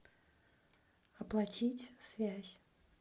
оплатить связь